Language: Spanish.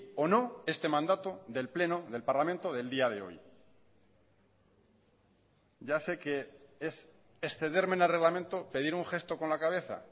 o no este mandato del pleno del parlamento del día de hoy ya sé que es excederme en el reglamento pedir un gesto con la cabeza